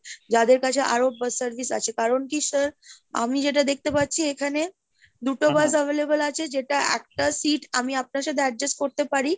যাদের কাছে আরো service আছে কারণ কি sir আমি যেটা দেখতে পাচ্ছি , এখানে দুটো bus available আছে যেটা একটা seat আমি আপনার সাথে adjust করতে পারি।